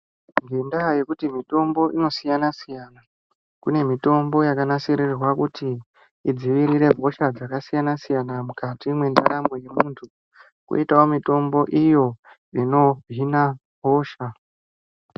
Ngendaa yekuti mitombo ino siyana-siyana, kune mitombo yakanasirirwe kuti idziirire hosha dzakasiyana-siyana mukati mwendaramo yemunthu, kwoitawo mitombo iyo inohina hosha.